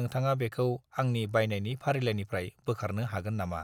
नोंथाङा बेखौ आंनि बायनायनि फारिलाइनिफ्राय बोखारनो हागोन नामा?